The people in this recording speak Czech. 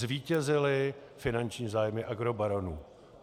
Zvítězily finanční zájmy agrobaronů.